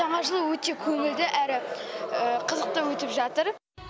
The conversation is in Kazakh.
жаңа жыл өте көңілді әрі қызықты өтіп жатыр